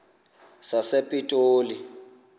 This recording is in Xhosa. sasepitoli